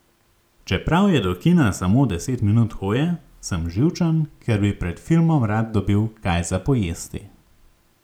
Čeprav je do kina samo deset minut hoje, sem živčen, ker bi pred filmom rad dobil kaj za pojesti.